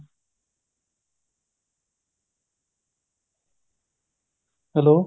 hello